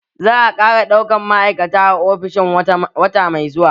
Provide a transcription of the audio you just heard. Za a ƙara ɗauka ma'aikata a ofishin wata mai zuwa